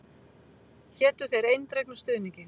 Hétu þér eindregnum stuðningi.